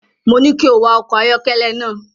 Mo ní kí o wa ọkọ̀ ayọ́kẹ́lẹ́ náà.